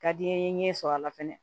Ka di n ye n ɲɛ sɔrɔ a la fɛnɛ